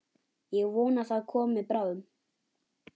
Ég vona það komi bráðum.